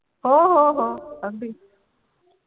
हो हो हो अगदी